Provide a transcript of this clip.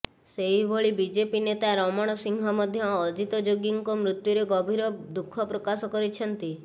ସେହିଭଳି ବିଜେପି ନେତା ରମଣ ସିଂହ ମଧ୍ୟ ଅଜିତ୍ ଯୋଗୀଙ୍କ ମୃତ୍ୟୁରେ ଗଭୀର ଦୁଃଖ ପ୍ରକାଶ କରିଛନ୍ତି